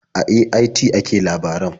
A AIT ake labaran.